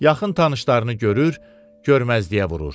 Yaxın tanışlarını görür, görməzliyə vurur.